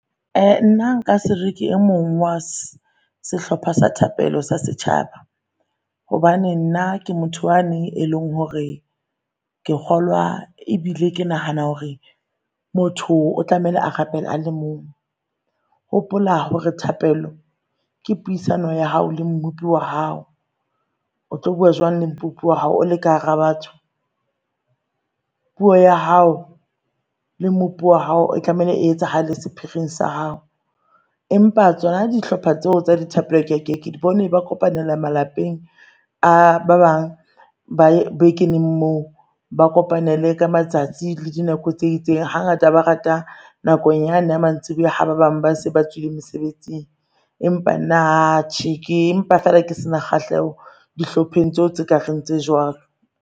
Nna nka sere ke e mong wa sehlopha sa thapelo sa setjhaba hobane nna ke motho wane e leng hore ke kgolwa ebile ke nahana hore motho o tlamehile a rapela a le mong. Hopola hore thapelo ke puisano ya hao le mmupi wa hao. Otlo bua jwang le mmupi wa hao o le ka hara batho? Puo ya hao le mmupi wa hao tlamehile e etsahale sephiring sa hao. Empa tsona dihlopha tseo tsa di thapelo ke ke di bone ba kopanele malapeng a ba bang ba bekeneng moo ba kopane le ka matsatsi le dinako tse itseng. Hangata ba rata nakong yane ya mantsibua, ha ba bang ba se ba tswile mesebetsing. Empa nna tjhe ke empa fela ke se na kgahleho dihlopheng tseo tse kareng tse jwalo.